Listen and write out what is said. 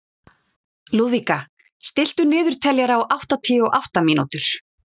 Lúðvíka, stilltu niðurteljara á áttatíu og átta mínútur.